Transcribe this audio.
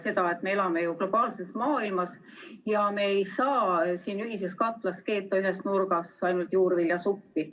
Nimelt, me elame globaalses maailmas ja me ei saa siin ühises katlas keeta ühes nurgas ainult juurviljasuppi.